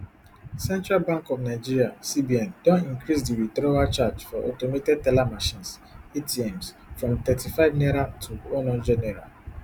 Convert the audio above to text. central bank of nigeria cbn don increase di withdrawal charge for automated teller machines atms from thirty-five naira to one hundred naira